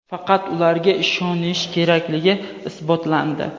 faqat ularga ishonish kerakligi isbotlandi.